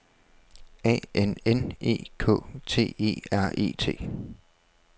A N N E K T E R E T